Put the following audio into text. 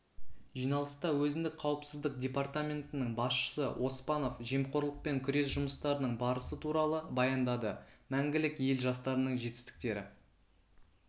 жиналыста өзіндік қауіпсіздік департаментінің басшысы оспанов жемқорлықпен күрес жұмыстарының барысы туралы баяндады мәңгілік ел жастарының жетістіктері